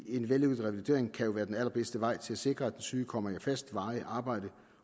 en vellykket revalidering kan jo være den allerbedste vej til at sikre at den syge kommer i fast varigt arbejde